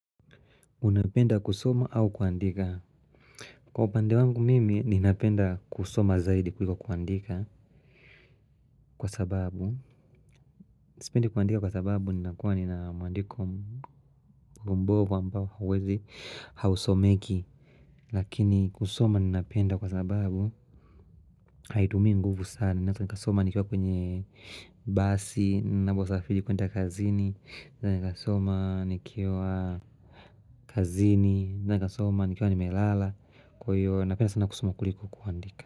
Unapenda kusoma au kuandika Kwa upande wangu mimi ninapenda kusoma zaidi kuliko kuandika Kwa sababu Nisipendi kuandika kwa sababu ninakuwa ninamuandiko mbovu ambao hawezi hausomeki Lakini kusoma ninapenda kwa sababu Haitumii nguvu sana nikasoma nikiwa kwenye basi naposafiri kwenda kazini Nikasoma nikiwa kazini nikasoma nikiwa nimelala Kwa hiyo napenda sana kusoma kuliku kuandika.